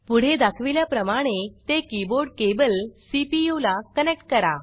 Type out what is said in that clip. पुढे दाखविल्याप्रमाणे ते कीबोर्ड केबल सीपीयू ला कनेक्ट करा